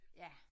Ja